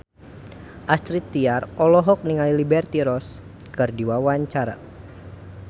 Astrid Tiar olohok ningali Liberty Ross keur diwawancara